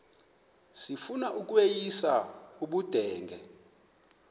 sifuna ukweyis ubudenge